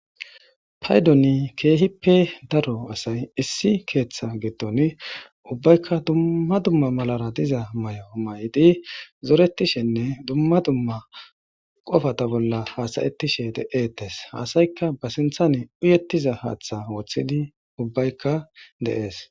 Paydoni keehippe daro asay issi keeththa giddon ubbaykka dumma dumma malara diza may7o may7iti zoretishenne dumma dumma qofata bolla haasayettishe de7etes hasaykka ba sinthan uyettiza haaththa woththidi ubbaykka dees